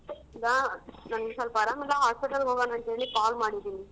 ಈಗ ನನಿಗ್ ಸೊಲ್ಪ ಆರಾಮಿಲ್ಲ hospital ಗೋಗಣ ಅಂತೇಳಿ call ಮಾಡಿದೀನಿ.